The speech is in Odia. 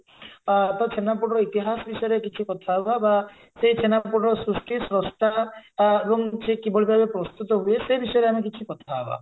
ଆ ତ ଛେନାପୋଡ ର ଇତିହାସ ବିଷୟରେ କିଛି କଥା ହବା ବା ସେ ଛେନାପୋଡର ସୃଷ୍ଟି ଶ୍ରଷ୍ଠା ଏବଂ ସେ କିଭଳି ଭାବରେ ପ୍ରସ୍ତୁତ ହୁଏ ସେ ବିଷୟରେ ଆମେ କିଛି କଥା ହବା